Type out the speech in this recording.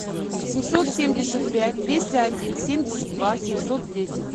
семьсот семьдесят пять двести один семьдесят два семьсот десять